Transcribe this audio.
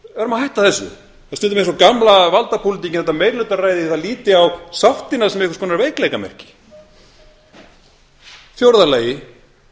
að hætta þessu það er stundum eins og gamla valdapólitíkin þetta meirihlutaræði það líti á sáttina sem einhvers konar veikleikamerki í fjórða lagi sérhagsmunir